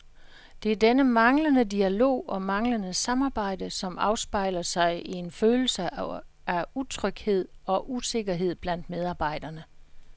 Det er denne manglende dialog og manglende samarbejde, som afspejler sig i en følelse af utryghed og usikkerhed blandt medarbejderne.